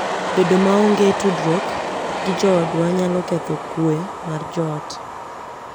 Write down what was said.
Bedo maonge tudruok gi joodwa nyalo ketho kuwe mar joot.